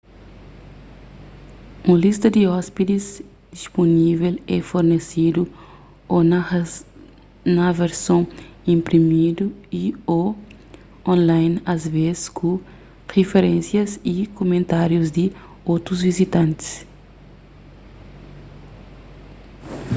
un lista di ôspidis dispunível é fornesedu ô na verson inprimidu y/ô online asvês ku riferénsias y kumentárius di otus viajantis